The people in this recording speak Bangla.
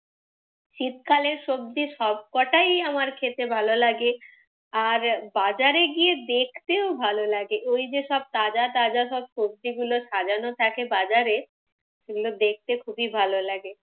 শীতকালের সবজি সব কটাই আমার খেতে ভালো লাগে। আর বাজারে গিয়ে দেখতেও ভালো লাগে। ওই যে সব তাজা তাজা সব সবজিগুলো সাজানো থাকে বাজারে, ওগুলো দেখতে ভালো লাগে।